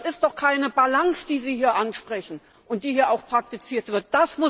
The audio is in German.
Das ist doch keine Balance, die Sie hier ansprechen und die hier auch praktiziert wird.